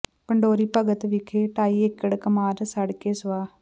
ਪੰਡੋਰੀ ਭਗਤ ਵਿਖੇ ਢਾਈ ਏਕੜ ਕਮਾਦ ਸੜ ਕੇ ਸੁਆਹ